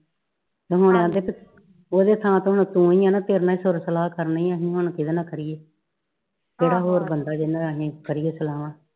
ਓ ਕਹਿੰਦੇ ਓਦੇ ਥਾਂ ਤੇ ਤਾ ਤੂ ਹੀ ਆ ਤੇਰੇ ਨਾਲ ਸੁੱਖ ਸਲਾਹ ਕਰਨੀ ਆ ਅਸੀਂ ਹੁਣ ਕਿੰਦੇ ਨਾਲ ਕ ਰੀਏ ਕਿਹੜਾ ਹੋਰ ਬੰਦਾ ਵਾ ਜਿਹਦੇ ਨਾਲ ਅਸੀਂ ਕਰੀਏ ਸਲਾਵਾ